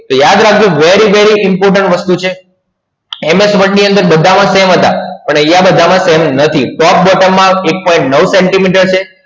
તો યાદ રાખજો very very important વસ્તુ છે MS Word ની અંડર બધા માં same અજ આવે પણ આયા બધા માં same નથી